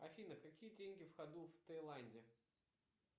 афина какие деньги в ходу в тайланде